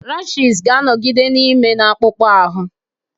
Rashịz ga-anọgide na-eme na-akpụkpọ ahụ.